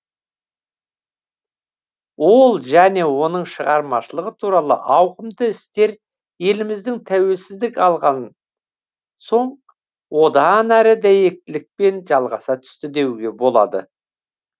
ол және оның шығармашылығы туралы ауқымды істер еліміз тәуелсіздік алған соң одан әрі дәйектілікпен жалғаса түсті деуге болады